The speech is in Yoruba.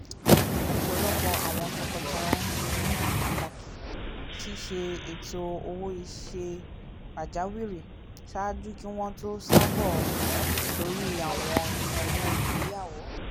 ọpọlọpọ awọn tọkọtaya ṣe ní pàtàkì ṣiṣe ètó owo-iṣẹ pajawiri ṣáájú ki wọn to ṣabọ lórí àwọn ìnáwó ìgbéyàwó